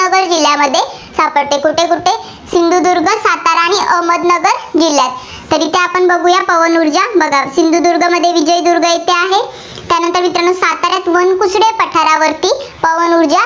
जिल्हांमध्ये सापडते. कुठे सिंधुदुर्ग, सातारा आणि अहमदनगर जिल्ह्यात. तरी ते आपण बघुयात पवन ऊर्जा सिंधुदुर्गमध्ये विजयदुर्ग येथे आहे. त्यानंतर मित्रांनो सातऱ्यात वनकुस्रे पठारावरती पवन ऊर्जा